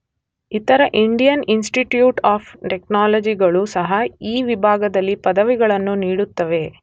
ಇತರ Indian institute of ಟೆಕ್ನಾಲಜಿಗಳೂ ಸಹ ಈ ವಿಭಾಗದಲ್ಲಿ ಪದವಿಗಳನ್ನು ನೀಡುತ್ತವೆ.